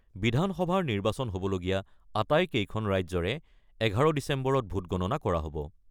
বিধানসভাৰ নিৰ্বাচন হ'বলগীয়া আটাইকেইখন ৰাজ্যৰে ১১ ডিচেম্বৰত ভোটগণনা কৰা হ'ব।